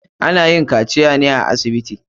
Ana yin kaciya ne a asibiti.